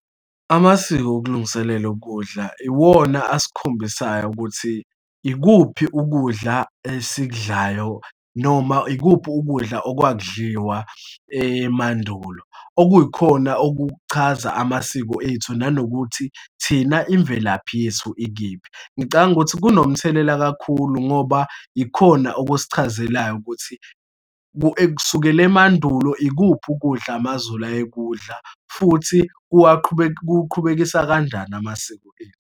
Amasiko okulungiselelwe ukudla iwona esikhombisayo ukuthi ikuphi ukudla esikudlayo noma ikuphi ukudla okwakudliwa emandulo. Okuyikhona okuchaza amasiko ethu, nanokuthi thina imvelaphi yethu ikiphi. Ngicabanga ukuthi kunomthelela kakhulu ngoba ikhona okusichazelayo ukuthi, kusukela emandulo, ikuphi ukudla amaZulu ayekudla, futhi kuqhubekisa kanjani amasiko ethu.